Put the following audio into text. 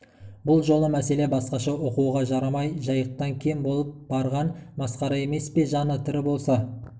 бұл жолы мәселе басқаша оқуға жарамай жайықтан кем болып барған масқара емес пе жаны тірі болса